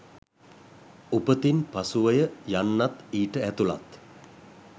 උපතින් පසුවය යන්නත් ඊට ඇතුළත්